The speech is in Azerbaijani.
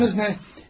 Adınız nə?